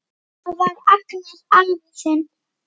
Það var Agnar afi þinn.